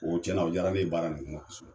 O cɛn na o jara ne ye baara nin